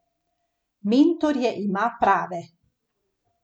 Mentorje ima prave.